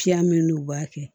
Fiya min n'o b'a kɛ